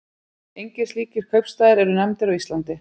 Engir slíkir kaupstaðir eru nefndir á Íslandi.